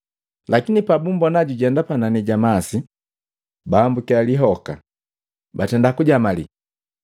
Lakini pabumbona jujenda panani ja mase, bahambukya lihoka, batenda kujamali.